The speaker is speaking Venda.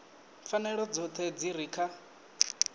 pfanelo dzoṱhe dzi re kha